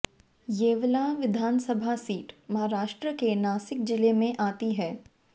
येवला विधानसभा सीट महाराष्ट्रके नासिक जिले में आती है